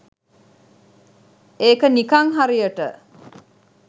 ඒක නිකං හරියට